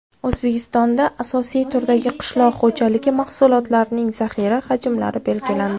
O‘zbekistonda asosiy turdagi qishloq xo‘jaligi mahsulotlarining zaxira hajmlari belgilandi .